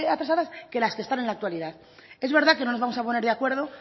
atrasadas que las que están en la actualidad es verdad que no nos vamos a poner de acuerdo